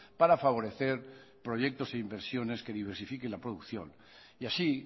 para favorecer proyectos e inversiones que diversifiquen la producción y así